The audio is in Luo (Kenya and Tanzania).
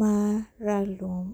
mara lum.